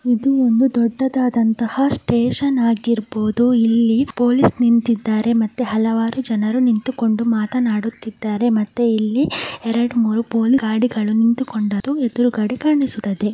ಇದು ಒಂದು ದೊಡ್ಡದಾದಂತ ಸ್ಟೇಷನ್ ಆಗಿದ್ದು ಇಲ್ಲಿ ಪೊಲೀಸ್ ನಿಂತಿದ್ದಾರೆ ಮತ್ತು ಅಲ್ಲವರು ಜನ ನಿಂತುಕೊಂಡು ಮಾತನಾಡುತಿದ್ದಾರೆ ಮತ್ತೆ ಇಲ್ಲಿ ಯೆರದು ಮೂರು ಪೊಲೀಸ್ ಗಾಡಿಗಳು ನಿಂತಿವೆ.